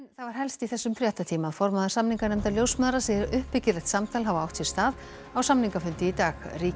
það helsta úr þessum fréttatíma formaður samninganefndar ljósmæðra segir að uppbyggilegt samtal hafi átt sér stað á samningafundi í dag ríkið